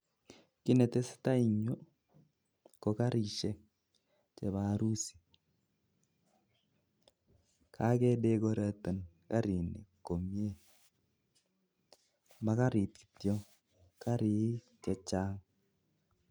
Kit netesetai eng yu ko karishek chebo harusit ako chang chotok